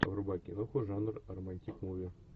врубай киноху жанр романтик муви